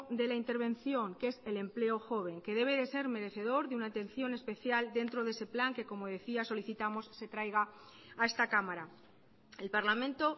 de la intervención que es el empleo joven que debe de ser merecedor de una atención especial dentro de ese plan que como decía solicitamos se traiga a esta cámara el parlamento